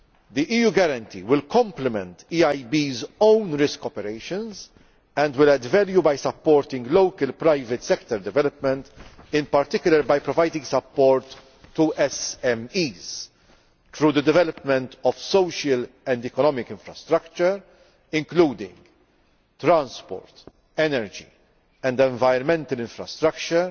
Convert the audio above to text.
The EU guarantee will complement the EIB's own risk operations and will add value by supporting local private sector development, in particular by providing support to SMEs through the development of social and economic infrastructure, including transport, energy and environmental infrastructure